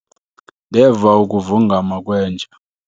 Ndeva ukuvungama kwenja.